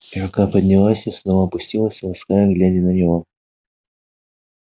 и рука поднялась и снова опустилась лаская гладя его